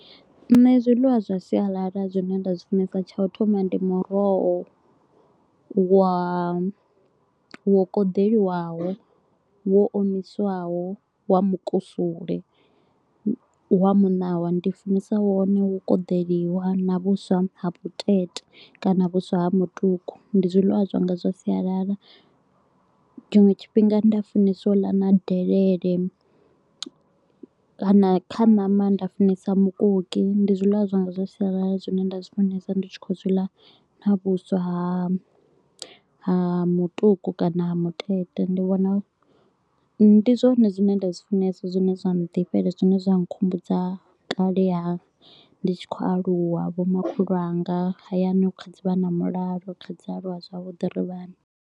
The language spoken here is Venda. Nṋe zwiḽiwa zwa sialala zwine nda zwi funesa, tsha u thoma ndi muroho wa wo kodeliwaho, wo omiswaho, wa mukusule, wa muṋawa. Ndi funesa wone wo kodeliwa na vhuswa ha vhutete kana vhuswa ha mutuku, ndi zwiḽiwa zwanga zwa sialala. Tshiṅwe tshifhinga nda funeswa u ḽa na delele kana kha ṋama nda funesa mukoki, ndi zwiḽiwa zwanga zwa sialala zwine nda zwi funesa ndi tshi khou zwi ḽa na vhuswa ha ha mutuku kana ha mutete, ndi zwone zwine nda zwi funesa zwine zwa ndifhela zwine zwa nkhumbudza kale ha ndi tshi khou aluwa, vho makhulu wanga, hayani hu kha dzi vha na mulalo, ri tshi kha dzi aluwa zwavhuḓi ri vhana.